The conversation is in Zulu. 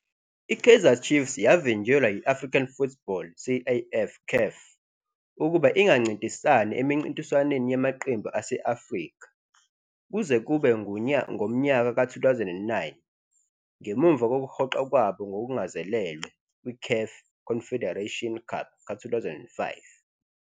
I-Kaizer Chiefs yavinjelwa yi-African Football, CAF, CAF, ukuba ingancintisani emincintiswaneni yamaqembu ase-Afrika kuze kube ngomnyaka ka-2009 ngemuva kokuhoxa kwabo ngokungazelelwe kwi-"CAF Confederation Cup" ka-2005.